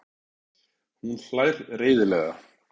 Hún hlær reiðilega.